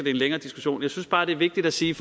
længere diskussion jeg synes bare det er vigtigt at sige